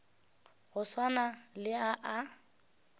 go swana le a a